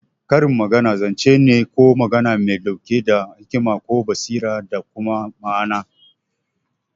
Karin magana zance ne ko magana mai ɗauke da hikima ko basira da kuma ma'ana.